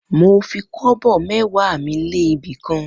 Mo fi kobo mẹ́wàá mi lé ibi kan.